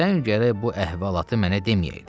sən gərək bu əhvalatı mənə deməyəydin.